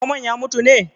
Zomon ya mutu ne?